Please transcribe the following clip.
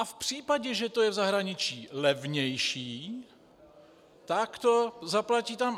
A v případě, že to je v zahraničí levnější, tak to zaplatí tam.